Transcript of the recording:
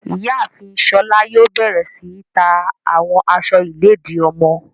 Iyaafin Shola yoo bẹrẹ si ta awọn aṣọ iledi ọmọ